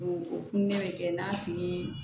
O o fununen bɛ kɛ n'a tigi ye